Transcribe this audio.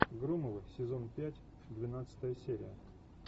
громовы сезон пять двенадцатая серия